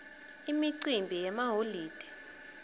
imicimbi yemaholide